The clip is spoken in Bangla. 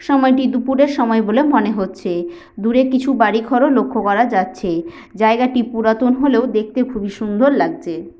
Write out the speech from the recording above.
সময়টি দুপুরের সময় বলে মনে হচ্ছে দূরে কিছু বাড়ি ঘর ও লক্ষ্য করা যাচ্ছে জায়গা টি পুরাতন হলেও দেখতে খুবই সুন্দর লাগছে।